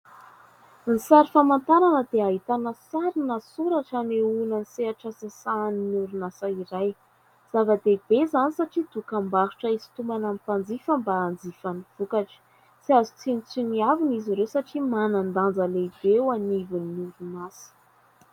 Ny sary famantarana dia ahitana sary na soratra anehoana ny sehatra sahanin'ny orinasa iray. Zava-dehibe izany satria dokam-barotra hisintomana mpanjifa mba hanjifa ny vokatra. Tsy azo tsinontsinoavana izy ireo satria manan-danja lehibe eo anivon'ny orinasa.